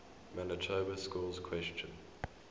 manitoba schools question